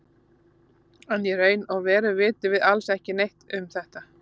En í raun og veru vitum við alls ekki neitt um þetta.